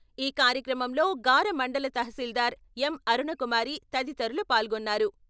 ఈ కార్యక్రమంలో గార మండల తహశీల్దారు యం.అరుణకుమారి తదితరులు పాల్గొన్నారు.